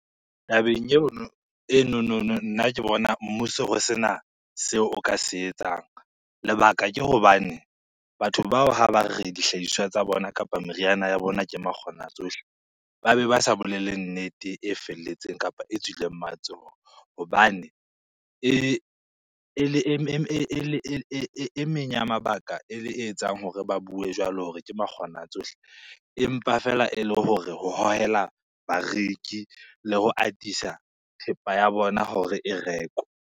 Tabeng eno, nna ke bona mmuso ho sena seo o ka se etsang. Lebaka ke hobane batho bao ha ba re dihlahiswa tsa bona kapa meriana ya bona ke makgona tsohle, ba beba sa bolele nnete e felletseng kapa e tswileng matsoho. Hobane e e meng ya mabaka e etsang hore ba bue jwalo hore ke makgona tsohle empa feela e le hore ho hohela bareki le ho atisa thepa ya bona hore e rekwe.